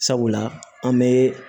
Sabula an bɛ